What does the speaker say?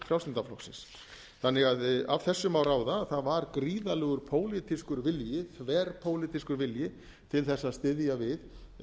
flokksins þannig að af þessu má ráða að það var gríðarlegur pólitískur vilji þverpólitískur vilji til þess að styðja við